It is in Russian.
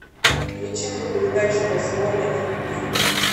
включи мне передачу восьмой на телевизоре